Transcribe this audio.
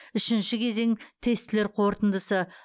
үшінші кезең тестілер қорытындысы